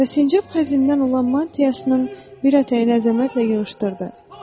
Və sincab xəzindən olan mantiyasının bir ətəyini əzəmətlə yığışdırdı.